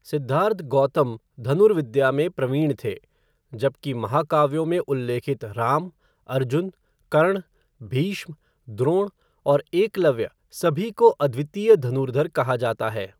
सिद्धार्थ गौतम धनुर्विद्या में प्रवीण थे, जबकि महाकाव्यों में उल्लेखित राम, अर्जुन, कर्ण, भीष्म, द्रोण और एकलव्य सभी को अद्वितीय धनुर्धर कहा जाता है।